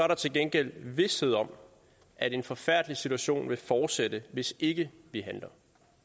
der til gengæld vished om at en forfærdelig situation vil fortsætte hvis ikke vi handler